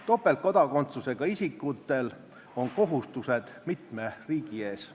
Topeltkodakondsusega isikutel on kohustused mitme riigi ees.